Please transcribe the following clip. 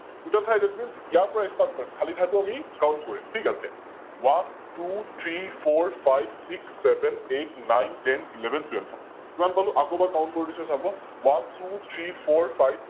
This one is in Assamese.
Total ঠাই ThatMeans ইয়াৰ পৰা start কৰিম খালি ঠাইটো আমি Count কৰিম, থিক আছে, One, Two, Three, Four, Five, Six, Seven, Eight, Nine, Ten, Eleven, Twelve কিমান পালো? আকৌ এবাৰ Count কৰি দিছো চাৱ, One, Two, Three, Four, Five,